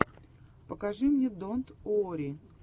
покажи мне донт уорри